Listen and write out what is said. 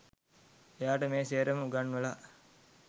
එයාට මේ සේරම උගන්වලා